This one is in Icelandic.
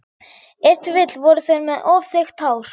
Ef til vill voru þeir með of þykkt hár.